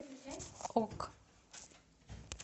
ок